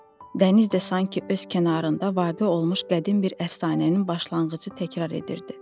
Dəniz də sanki öz kənarında vaqe olmuş qədim bir əfsanənin başlanğıcı təkrar edirdi.